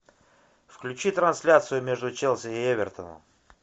включи трансляцию между челси и эвертоном